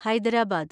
Hyderabad